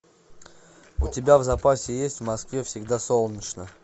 у тебя в запасе есть в москве всегда солнечно